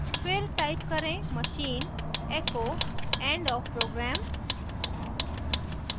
फिर type करें machine echo end of program